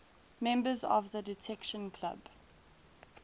members of the detection club